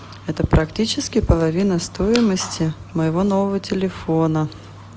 это практически половина стоимости моего нового телефона